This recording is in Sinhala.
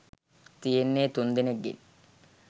තියෙන්නේ තුන්දෙනෙක්ගෙන්.